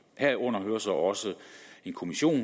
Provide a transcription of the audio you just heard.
herunder hører så også en kommission